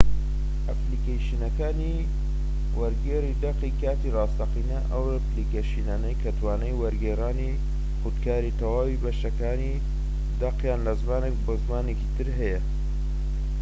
ئەپلیکەیشنەکانی وەرگێڕی دەقی کاتی ڕاستەقینە ئەو ئەپلیکەیشنانەی کە توانای وەرگێڕانی خودکاری تەواوی بەشەکانی دەقیان لە زمانێک بۆ زمانی تر هەیە